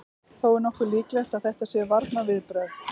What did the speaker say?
Þó er nokkuð líklegt að þetta séu varnarviðbrögð.